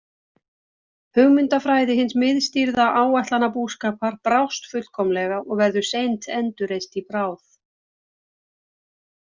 Hugmyndafræði hins miðstýrða áætlanabúskapar brást fullkomlega og verður seint endurreist í bráð.